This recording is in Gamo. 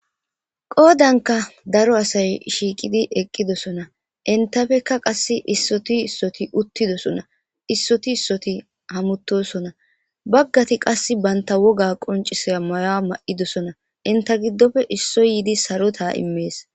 qoodanka daro asay shiiqidi eqqidosona intafekka qass issoti issoti uttidosona issoti issoti hamuttosona baggati qas banta woga qoncisaya maya ma7idosona inta giddofe issoy yiidi saro taa immees